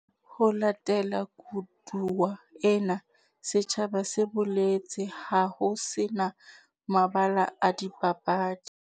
Ho latela koduwa ena, setjhaba se boletse ha ho se na mabala a dipapadi.